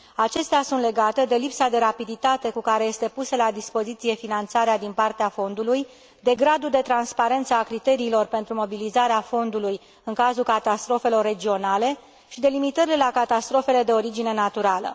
Acestea sunt legate de lipsa de rapiditate cu care este pusă la dispoziție finanțarea din partea fondului, de gradul de transparență a criteriilor pentru mobilizarea fondului în cazul catastrofelor regionale și delimitările la catastrofele de origine naturală.